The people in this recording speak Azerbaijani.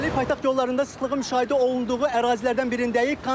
İndəlik paytaxt yollarında sıxlığı müşahidə olunduğu ərazilərdən birindəyik.